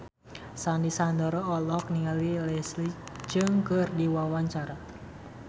Sandy Sandoro olohok ningali Leslie Cheung keur diwawancara